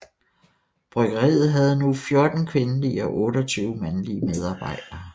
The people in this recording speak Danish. Bryggeriet havde nu 14 kvindelige og 28 mandlige medarbejdere